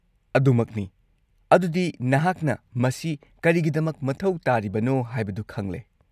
-ꯑꯗꯨꯃꯛꯅꯤ, ꯑꯗꯨꯗꯤ ꯅꯍꯥꯛꯅ ꯃꯁꯤ ꯀꯔꯤꯒꯤꯗꯃꯛ ꯃꯊꯧ ꯇꯥꯔꯤꯕꯅꯣ ꯍꯥꯏꯕꯗꯨ ꯈꯪꯂꯦ꯫